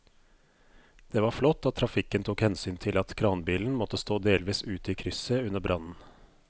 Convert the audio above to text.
Det var flott at trafikken tok hensyn til at kranbilen måtte stå delvis ute i krysset under brannen.